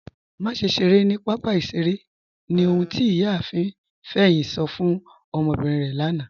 Màṣẹ ṣeré ni papa ìṣẹ̀rè ni ọ̀hun tí Iyààfin Feyin sọ̀ fún ọmọbírín rẹ lànà.